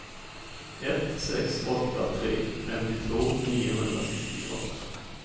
ett sex åtta tre femtiotvå niohundrasextioåtta